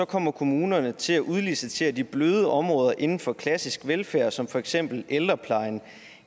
kommer kommunerne til at udlicitere de bløde områder inden for klassisk velfærd som for eksempel ældreplejen